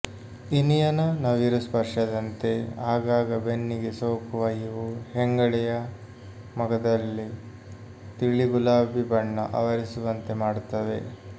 ಇನಿಯನ ನವಿರು ಸ್ಪರ್ಶದಂತೆ ಆಗಾಗ ಬೆನ್ನಿಗೆ ಸೋಕುವ ಇವು ಹೆಂಗಳೆಯ ಮೊಗದಲ್ಲಿ ತಿಳಿಗುಲಾಬಿ ಬಣ್ಣ ಆವರಿಸುವಂತೆ ಮಾಡುತ್ತವೆ